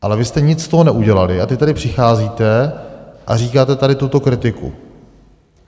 Ale vy jste nic z toho neudělali a teď tady přicházíte a říkáte tady tuto kritiku.